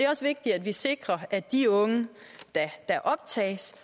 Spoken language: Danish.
også vigtigt at vi sikrer at de unge der optages